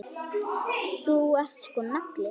Þú ert sko nagli.